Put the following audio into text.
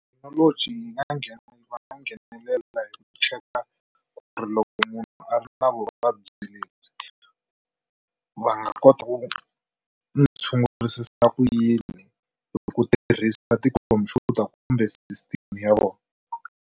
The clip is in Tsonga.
Thekinoloji yi nga nghena va nga nghenelela hi ku cheka ku ri loko munhu a ri na vuvabyi lebyi va nga kota ku n'wi tshungurisa ku yini ku tirhisa tikhompyuta kumbe system ya vona.